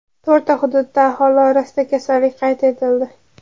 To‘rtta hududda aholi orasida kasallik qayd etildi.